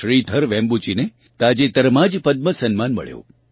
શ્રીધર વેમ્બૂજીને તાજેતરમાં જ પદ્મ સમ્માન મળ્યું